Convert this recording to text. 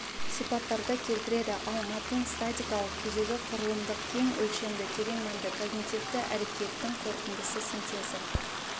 сипаттарды келтіреді ал мәтін статикалық күйдегі құрылымдық кең өлшемді терең мәнді когнитивті әрекеттің қорытындысы синтезі